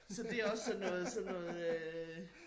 Så det også sådan noget sådan noget øh